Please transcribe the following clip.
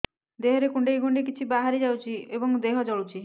ଦେହରେ କୁଣ୍ଡେଇ କୁଣ୍ଡେଇ କିଛି ବାହାରି ଯାଉଛି ଏବଂ ଦେହ ଜଳୁଛି